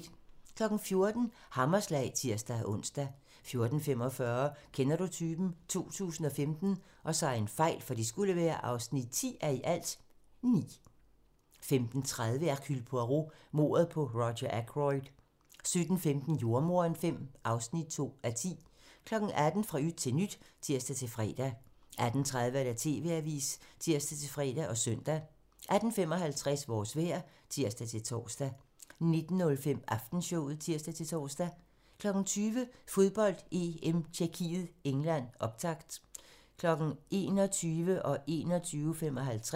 14:00: Hammerslag (tir-ons) 14:45: Kender du typen? 2015 (10:9) 15:30: Hercule Poirot: Mordet på Roger Ackroyd 17:15: Jordemoderen V (2:10) 18:00: Fra yt til nyt (tir-fre) 18:30: TV-avisen (tir-fre og søn) 18:55: Vores vejr (tir-tor) 19:05: Aftenshowet (tir-tor) 20:00: Fodbold: EM - Tjekkiet-England, optakt 21:00: Fodbold: EM - Tjekkiet-England